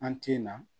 An tin na